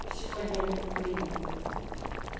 сегодня блин